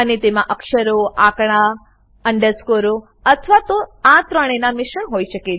અને તેમાં અક્ષરોઆંકડા અન્ડરસ્કૉરો અથવા તો આ ત્રણેના મિશ્રણ હોય શકે છે